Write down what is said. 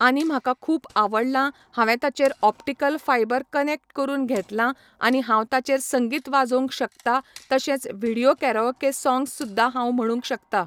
आनी म्हाका खूब आवडला हांवें ताचेर ऑपटीकल फायबर कनॅक्ट करून घेतलां आनी हांव ताचेर संगीत वाजोंक शकता तशेच व्हिडीयो केरेओके सॉंग्स सुद्दां हांव म्हणूंक शकता